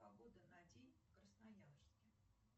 погода на день в красноярске